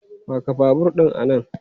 Paka babur ɗin a nan!